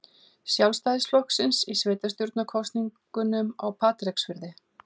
Sjálfstæðisflokksins í sveitarstjórnarkosningum á Patreksfirði.